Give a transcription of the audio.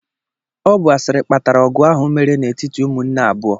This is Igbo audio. Ọ bụ asịrị kpatara ọgụ ahụ mere n'etiti ụmụnne abuo.